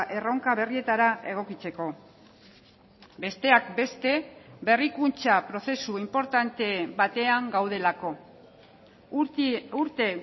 erronka berrietara egokitzeko besteak beste berrikuntza prozesu inportante batean gaudelako urte